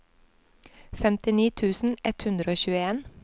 femtini tusen ett hundre og tjueen